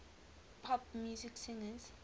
pop music singers